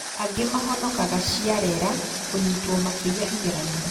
Angĩ mahonokaga ciarera kũnyitwo makĩiya igeranio